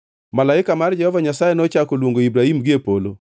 Malaika mar Jehova Nyasaye nochako luongo Ibrahim gie polo,